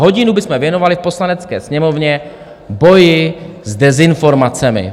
Hodinu bychom věnovali v Poslanecké sněmovně boji s dezinformacemi.